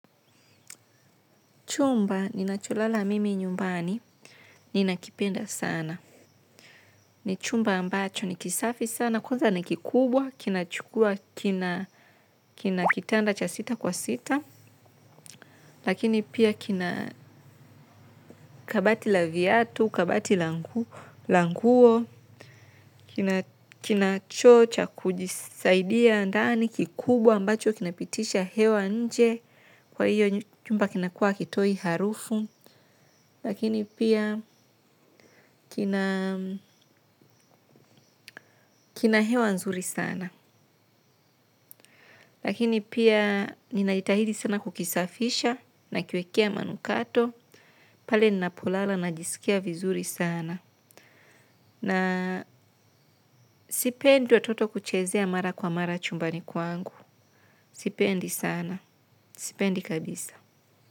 Chumba, ninacholala mimi nyumbani, ninakipenda sana. Ni chumba ambacho, nikisafi sana, kwanza ni kikubwa, kinachukua, kina kitanda cha sita kwa sita. Lakini pia kina kabati la viatu, kabati la nguo, kina choo cha kujisaidia ndani, kikubwa ambacho, kinapitisha hewa nje, kwa hiyo chumba kinakua hakitoi harufu. Lakini pia kina hewa nzuri sana. Lakini pia nina jitahidi sana kukisafisha nakiwekea manukato. Pale ninapolala najisikia vizuri sana. Na sipendi watoto kuchezea mara kwa mara chumbani kwangu. Sipendi sana. Sipendi kabisa.